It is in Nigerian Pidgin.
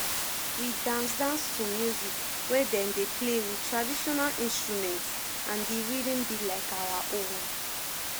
we dance dance to music wey dem dey play with traditional instrument and di rhythm be like our own